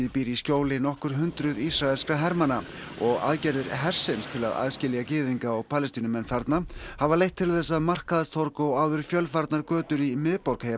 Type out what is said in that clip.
býr í skjóli nokkur hundruð ísraelskra hermanna og aðgerðir hersins til að aðskilja gyðinga og Palestínumenn þarna hafa leitt til þess að markaðstorg og áður fjölfarnar götur í miðborg